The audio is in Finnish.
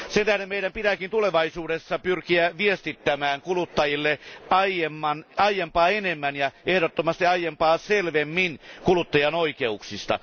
Sen tähden meidän pitääkin tulevaisuudessa pyrkiä viestimään kuluttajille aiempaa enemmän ja ehdottomasti aiempaa selvemmin kuluttajan oikeuksista.